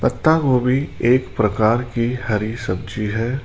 पत्ता गोभी एक प्रकार की हरी सब्जी है।